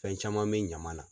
Fɛn caman bɛ ɲaman na.